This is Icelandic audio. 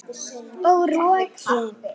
Hvað mikið?